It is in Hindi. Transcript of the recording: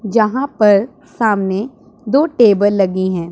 जहां पर सामने दो टेबल लगी हैं।